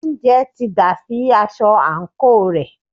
oúnjẹ ti dà sí aṣọ àńkò rẹ̀.